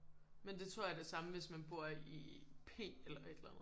Men det tror jeg er det samme hvis mna bor i P eller et eller andet